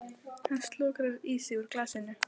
Hann slokrar í sig úr glasinu.